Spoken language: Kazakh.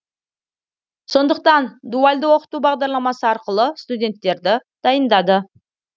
сондықтан дуальды оқыту бағдарламасы арқылы студенттерді дайындады